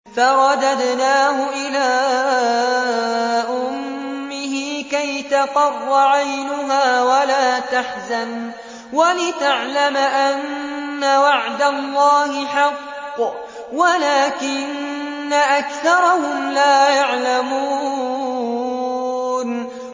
فَرَدَدْنَاهُ إِلَىٰ أُمِّهِ كَيْ تَقَرَّ عَيْنُهَا وَلَا تَحْزَنَ وَلِتَعْلَمَ أَنَّ وَعْدَ اللَّهِ حَقٌّ وَلَٰكِنَّ أَكْثَرَهُمْ لَا يَعْلَمُونَ